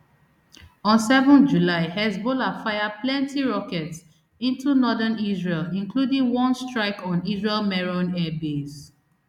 on seven july hezbollah fire plenti rockets into northern israel including one strike on israel meron airbase